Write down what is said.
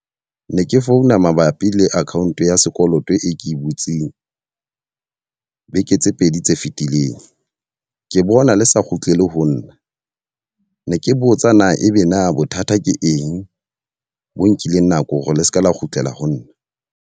Ne ke founa mabapi le account ya sekoloto e ke e butseng beke tse pedi tse fitileng. Ke bona le sa kgutlele ho nna. Ne ke botsa na ebe na bothata ke eng bo nkileng nako hore le seke la kgutlela ho nna?